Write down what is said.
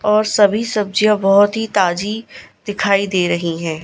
और सभी सब्जियां बहुत ही ताजी दिखाई दे रही हैं।